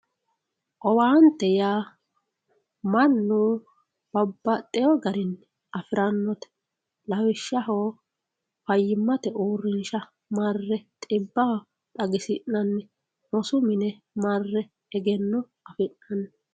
owaante yaa mannu babbaxxeyo garinni afirannote lawishshaho fayyimmate uurrinsha marre xibba xagisi'nanni rosu mine marre egenno afi'nanni